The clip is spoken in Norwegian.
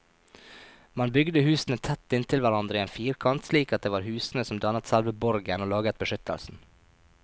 Man bygde husene tett inntil hverandre i en firkant, slik at det var husene som dannet selve borgen og laget beskyttelsen.